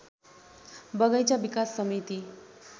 बगैंचा विकास समिति